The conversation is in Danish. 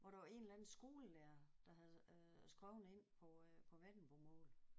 Hvor der var en eller anden skolelærer der havde øh skreven ind på øh på vendelbomål